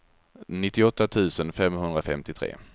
nittioåtta tusen femhundrafemtiotre